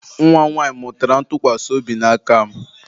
Nwa m nwaanyị mụtara ntụkwasị obi n'aka m